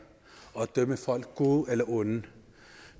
og dømme folk som gode eller onde